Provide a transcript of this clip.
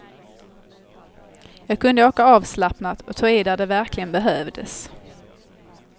Jag kunde åka avslappnat och ta i där det verkligen behövdes.